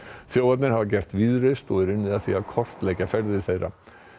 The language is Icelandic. þjófarnir hafa gert víðreist og er unnið að því að kortleggja ferðir þeirra